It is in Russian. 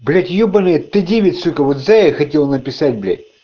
блять ёбанный т девять сука вот зая хотел написать блять